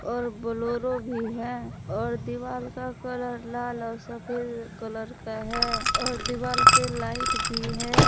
और बोलोरो भी है और दीवाल का कलर लाल और सफेद कलर का है और दिवाल पे लाइट भी है।